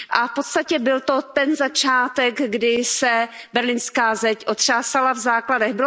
V podstatě byl to ten začátek, kdy se Berlínská zeď otřásala v základech.